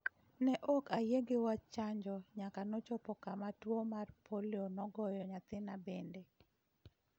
Ne ok ayie gi wach chanjo nyaka nochopo kama tuwo mar polio nogoyo nyathina bende'